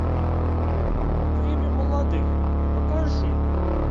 время молодых покажи